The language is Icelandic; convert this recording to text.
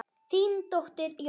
Þín dóttir, Jórunn.